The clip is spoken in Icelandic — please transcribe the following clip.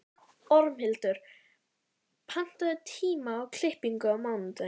Tilkoma hans var þó ekki einbert gleðiefni fyrir